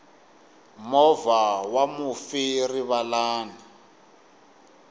movha wa mufi rivalani